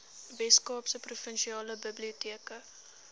weskaapse provinsiale biblioteke